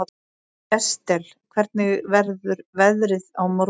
Estel, hvernig verður veðrið á morgun?